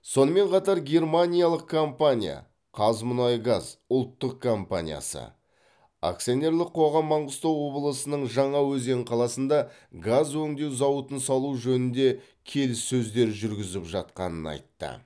сонымен қатар германиялық компания қазмұнайгаз ұлттық компаниясы акционерлік қоғам маңғыстау облысының жаңаөзен қаласында газ өңдеу зауытын салу жөнінде келіссөздер жүргізіп жатқанын айтты